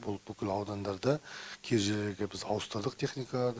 бұл бүкіл аудандарда кей жерлерде біз ауыстырдық техникаларды